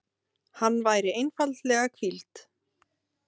Hann væri einfaldlega hvíld.